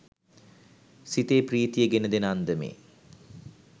සිතේ ප්‍රීතිය ගෙන දෙන අන්දමේ